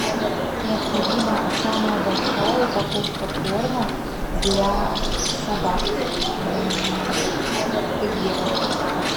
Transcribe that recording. необходима самая большая упаковка корма для собак терьеров